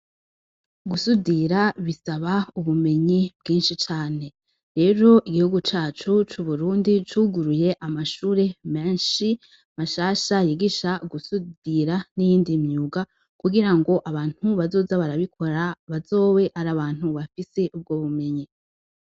Gusudira bisaba ubumenyi bwinshi cane. Rero igihugu cacu c'uburundi cuguruye amashure menshi mashasha yigisha gusudira n'iyindi myuga kugirango abantu bazoza barabikora bazobe ar'abantu bafise ubwobumenyi.